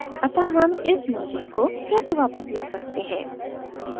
अतः हम इस merging को कैसे वापस ला सकते हैं